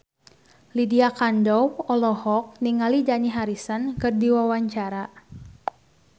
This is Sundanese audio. Lydia Kandou olohok ningali Dani Harrison keur diwawancara